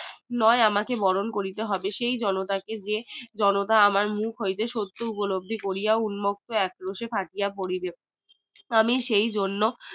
নোই আমাকে বরণ করিতে হবে সেই জনতা কে যে জনতা আমার মুখ হইতে শত্রু উপলব্ধ করিয়া উন্মুক্ত আক্রোশে থাকিয়া পড়িবে আমি সেই জন্য